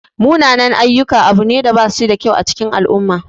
Munanan-ayyuka abu ne da bashida kyau a cikin al'umma.